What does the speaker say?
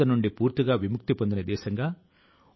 ప్రతి ఒక్కరూ పాఠశాల లో రాణించలేరు